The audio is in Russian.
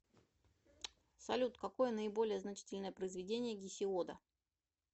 салют какое наиболее значительное произведение гесиода